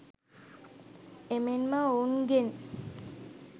එමෙන්ම ඔවුන්ගෙන්